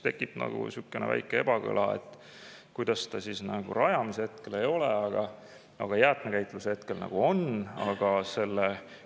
Tekib väike ebakõla: kuidas see siis rajamise hetkel ei ole, aga jäätmekäitluse hetkel on?